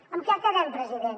en què quedem president